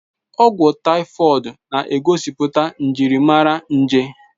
Ọgwụ taifọid na-egosipụta njirimara nje.